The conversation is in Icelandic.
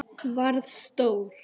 Varð stór.